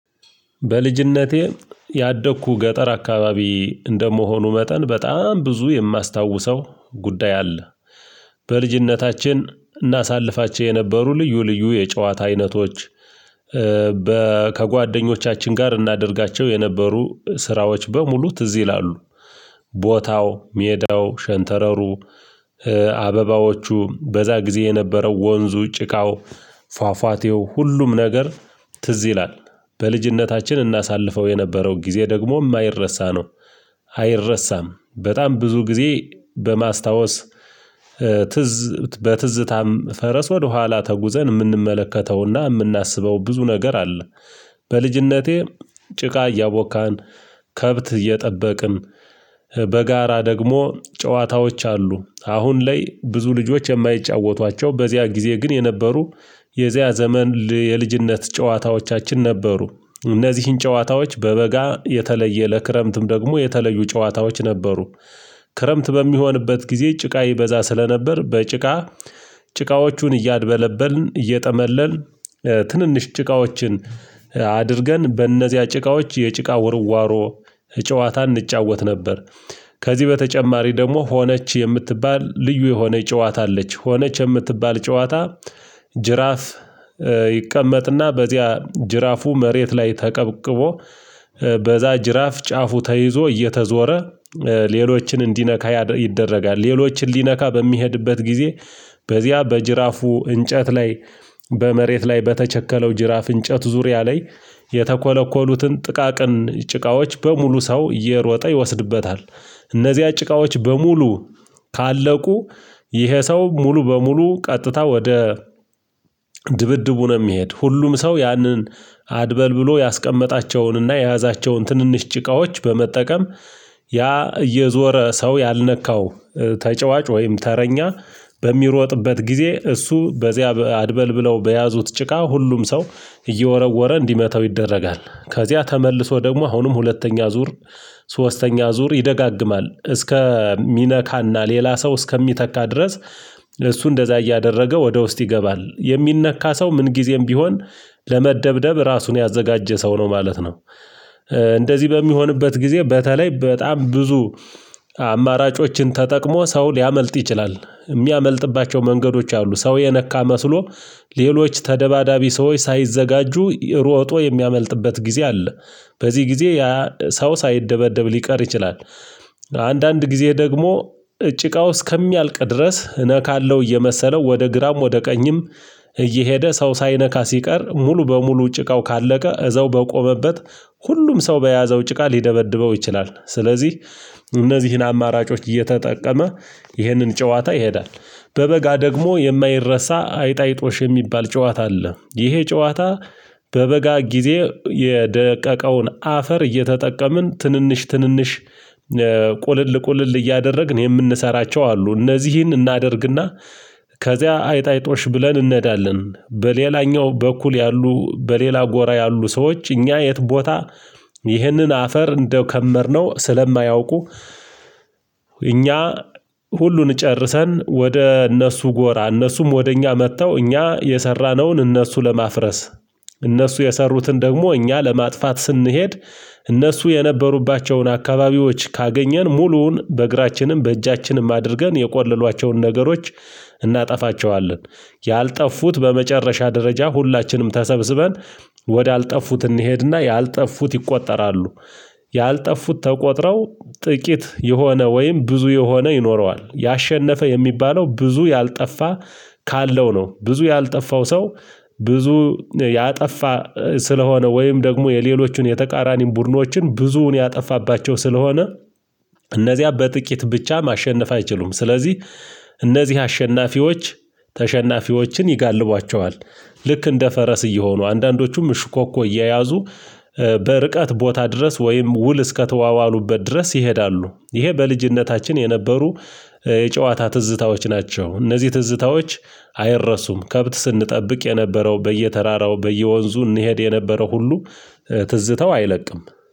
በልጅነቴ ያደግኩ ገጠር አካባቢ እንደመሆኑ መጠን በጣም ብዙ የማስታውሰው ጉዳይ አለ። በልጅነታችን እናሳልፋቸው የነበሩ ልዩ ልዩ የጨዋታ አይነቶች ከጓደኞቻችን ጋር እናደርጋቸው የነበሩ ስራዎች በሙሉ ትዝ ይላሉ። ቦታው ሜዳው ሸንተረሩ አበባዎቹም በዛ ጊዜ የነበረው ወንዙ ጭካው ፏፏቴው ሁሉም ነገር ትዝ ይላል። በልጅነታችን እናሳልፈው የነበረው ጊዜ ደግሞ የማይረሳ ነው። አይረሳም በጣም ብዙ ጊዜ በማስታወስ ትዝ በትዝታም ፈረስ ወደኋላ ተጉዘን የምንመለከተው እና የምናስበው ብዙ ነገር አለ። በልጅነቴ ጭቃ እያቦካን ከብት እየጠበቅን በጋራ ደግሞ ጨዋታዎች አሉ አሁን ላይ ብዙ ልጆች የማይጫወቷቸው በዚያ ጊዜ ግን የነበሩ የዚያ ዘመን የልጅነት ጨዋታዎቻችን ነበሩ። እነዚህን ጨዋታዎች በበጋ የተለየ ለክረምትም ደግሞ የተለዩ ጨዋታዎች ነበሩ። ክረምት በሚሆንበት ጊዜ ጭቃ ይበዛ ስለነበር በጭቃ ጭቃዎቹን እያድበለበልን እየጠመለልን ትንንሽ ጭቃዎችን አድርገን በእነዚያ ጭቃዎች የጭቃ ውርዋሮ ጨዋታ እንጫወት ነበር። ከዚህ በተጨማሪ ደግሞ ሆነች የምትባል ልዩ የሆነ ጨዋታ አለች ሆነች የምትባል ጨዋታ። ጅራፍ ይቀመጥ እና በዚያ ጅራፉ መሬት ላይ ተቀብቅቦ በዛ ጅራፍ ጫፉ ተይዞ እየተዞረ ሌሎችን እንዲነካ ይደረጋል ሌሎችን ሊነካ በሚሄድበት ጊዜ በዚያ በጅራፉ እንጨት ላይ በመሬት ላይ በተቸከለው ጅራፍ እንጨት ዙሪያ ላይ የተኮለኮሉትን ጥቃቅን ጭቃዎች በሙሉ ሰው እየሮጠ ይወስድበታል። እነዚህያ ጭቃዎች በሙሉ ካለቁ ይሄ ሰው ሙሉ በሙሉ ቀጥታ ወደ ድብድቡ ነው። የሚሄድ ሁሉም ሰው ያንን አድበልብሎ ያስቀመጣቸውን እና የያዛቸውን ትንንሽ ጭቃዎች በመጠቀም ያ እየዞረ ሰው ያልነካው ተጫዋች ወይም ተረኛ በሚሮጥበት ጊዜ እሱ በዚያ አድበልብለው በያዙት ጭቃ ሁሉም ሰው እየወረወረ እንዲመታው ይደረጋል። ከዚያ ተመልሶ ደግሞ አሁንም ሁለተኛ ዙር ሶስተኛ ዙር ይደጋገማል እስከ ሚነካ እና ሌላ ሰው እስከሚተካ ድረስ። እሱ እንደዛ እያደረገ ወደ ውስጥ ይገባል የሚነካ ሰው ምንጊዜም ቢሆን ለመደብደብ ራሱን ያዘጋጀ ሰው ነው ማለት ነው። እንደዚህ በሚሆንበት ጊዜ በተለይ በጣም ብዙ አማራጮችን ተጠቅሞ ሰው ሊያመልጥ ይችላል። የሚያመልጥባቸው መንገዶች አሉ ሰው የነካ መስሎ ሌሎች ተደባዳቢ ሰዎች ሳይዘጋጁ ሮጦ የሚያመልጥበት ጊዜ አለ። በዚህ ጊዜ ያ ሰው ሳይደበደብ ሊቀር ይችላል። አንዳንድ ጊዜ ደግሞ ጭቃው እስከሚያልቅ ድረስ እነካለሁ እየመሰለው ወደ ግራም ወደ ቀኝም እየሄደ ሰው ሳይነካ ሲቀር ሙሉ በሙሉ ጭቃው ካለቀ እዛው በቆመበት ሁሉም ሰው በያዘው ጭቃ ሊደበድበው ይችላል። ስለዚህ እነዚህን አማራጮች እየተጠቀመ ይህንን ጨዋታ ይሄዳል። በበጋ ደግሞ የማይረሳ አይጥ አይጦሽ የሚባል ጨዋታ አለ ይሄ ጨዋታ። በበጋ ጊዜ የደቀቀውን አፈር እየተጠቀምን ትንንሽ ትንንሽ ቁልል ቁልል እያደረግን የምንሰራቸው አሉ እነዚህን እናደርግ እና ከዚያ አይጥ አይጦሽ ብለን እንሄዳለን በሌላኛው በኩል ያሉ በሌላ ጎራ ያሉ ሰዎች እኛ የት ቦታ ይህንን አፈር እንደከመርነው ስለማያውቁ። እኛ ሁሉን ጨርሰን ወደ እነሱ ጎራ እነሱም ወደ እኛ መጥተው እኛ የሰራነውን እነሱ ለማፍረስ እነሱ የሰሩትን ደግሞ እኛ ለማጥፋት ስንሄድ እነሱ የነበሩባቸውን አካባቢዎች ካገኘን ሙሉውን በእግራችንም በእጃችንም አድርገን የቆለሏቸውን ነገሮች እናጠፋቸዋለን። ያልጠፉት በመጨረሻ ደረጃ ሁላችንም ተሰብስበን ወደ አልጠፉት እንሄድ እና ያልጠፉት ይቆጠራሉ። ያልጠፉት ተቆጥረው ጥቂት የሆነ ወይም ብዙ የሆነ ይኖረዋል ያሸነፈ የሚባለው ብዙ ያልጠፋ ካለው ነው። ብዙ ያልጠፋው ሰው ብዙ ያጠፋ ስለሆነ ወይም ደግሞ የሌሎቹን የተቃራኒውን ቡድኖችን ብዙውን ያጠፋባቸው ስለሆነ። እነዚያ በጥቂት ብቻ ማሸነፍ አይችሉም ስለዚህ እነዚህ አሸናፊዎች ተሸናፊዎችን ይጋልቧቸዋል። ልክ እንደ ፈረስ እየሆኑ አንዳንዶቹም ሽኮኮ እየያዙ በርቀት ቦታ ድረስ ወይም ውል እስከተዋዋሉበት ድረስ ይሄዳሉ። ይሄ በልጅነታችን የነበሩ የጨዋታ ትዝታዎች ናቸው። እነዚህ ትዝታዎች አይረሱም። ከብት ስንጠብቅ የነበረው በየተራራው በየወንዙ እንሄድ የነበረው ሁሉ ትዝታው አይለቅም።